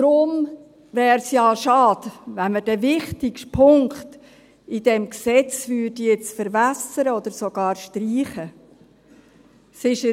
Deshalb wäre es ja schade, wenn man den wichtigsten Punkt in diesem Gesetz jetzt verwässern oder sogar streichen würde.